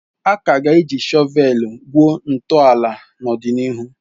A ka ga-eji shọveeli gwuo ntọala n'ọdịnihu.